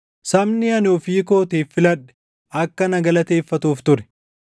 sabni ani ofii kootiif filadhe akka na galateeffatuuf ture.